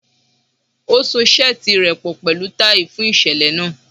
O so seeti rẹ pọ pẹlu tai fun iṣẹlẹ naa